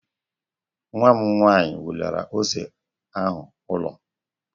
Nwa m nwaanyị welara ose ahụ ụlọ